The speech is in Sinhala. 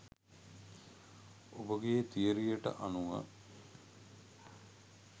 ඔබගේ තියරියට අනුව